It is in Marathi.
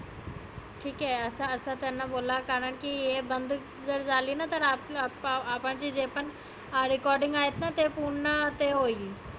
ठिक आहे असं त्याना बोला कारन की हे बंद जर झालीना तर आपलं आपण जे पण हा recording आहेत ना ते पुर्ण ते होईल.